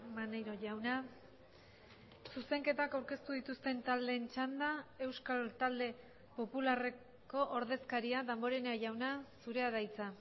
maneiro jauna zuzenketak aurkeztu dituzten taldeen txanda euskal talde popularreko ordezkaria damborenea jauna zurea da hitza